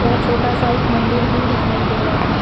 यहां छोटा सा एक मंदिर भी दिखाई पड़ रहा है।